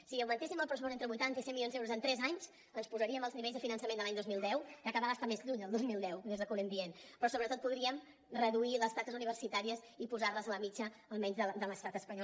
si augmentéssim el pressupost entre vuitanta i cent milions d’euros en tres anys ens posaríem als nivells de finançament de l’any dos mil deu ja cada vegada està més lluny el dos mil deu des de que ho anem dient però sobretot podríem reduir les taxes universitàries i posar les a la mitjana almenys de l’estat espanyol